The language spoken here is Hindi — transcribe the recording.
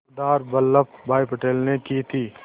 सरदार वल्लभ भाई पटेल ने की थी